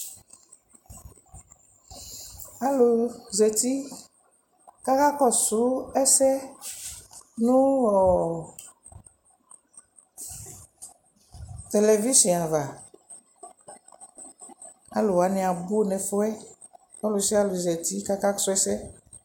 Alʋ zati kʋ akakɔsʋ ɛsɛ nʋ ɔ televizɩɔ ava Alʋ wanɩ abʋ nʋ ɛfʋ yɛ kʋ ɔlʋsɩalʋ zati kʋ akasʋ ɛsɛ